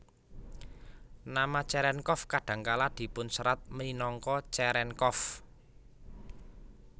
Nama Cherenkov kadang kala dipunserat minangka Cerenkov